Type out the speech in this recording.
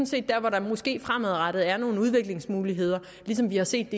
set der hvor der måske fremadrettet er nogle udviklingsmuligheder ligesom vi har set